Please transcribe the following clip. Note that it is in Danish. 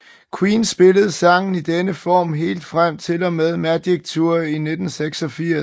Queen spillede sangen i denne form helt frem til og med Magic Tour i 1986